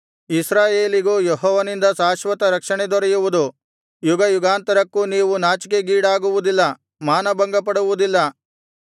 ಇಸ್ರಾಯೇಲಿಗೂ ಯೆಹೋವನಿಂದ ಶಾಶ್ವತ ರಕ್ಷಣೆ ದೊರೆಯುವುದು ಯುಗಯುಗಾಂತರಕ್ಕೂ ನೀವು ನಾಚಿಕೆಗೀಡಾಗುವುದಿಲ್ಲ ಮಾನಭಂಗಪಡುವುದಿಲ್ಲ